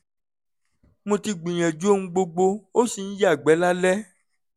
mo ti gbìyànjú ohun gbogbo ó ṣì ń yàgbẹ́ lálẹ́